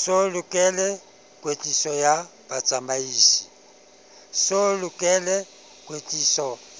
so lokele kwetliso